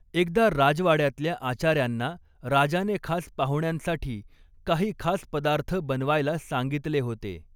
एकदा राजवाड्यातल्या आचार्यांना राजाने खास पाहुण्यांसाठी काही खास पदार्थ बनवायला सांगितले होते.